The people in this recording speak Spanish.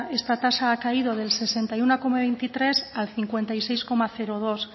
esta tasa ha caído del sesenta y uno coma veintitrés al cincuenta y tres coma dos